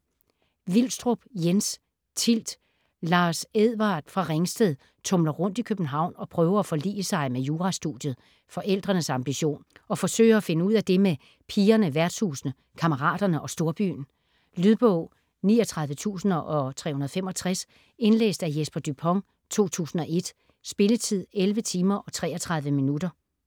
Vilstrup, Jens: Tilt Lars Edward fra Ringsted tumler rundt i København og prøver at forlige sig med jurastudiet (forældrenes ambition), og forsøger at finde ud af det med pigerne, værtshusene, kammeraterne og storbyen. Lydbog 39365 Indlæst af Jesper Dupont, 2001. Spilletid: 11 timer, 33 minutter.